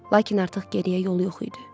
Lakin artıq geriyə yol yox idi.